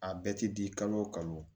A bɛɛ ti di kalo o kalo